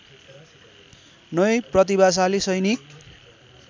नै प्रतिभाशाली सैनिक